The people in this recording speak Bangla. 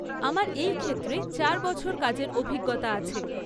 আমার এই ক্ষেত্রে চার বছর কাজের অভিজ্ঞতা আছে।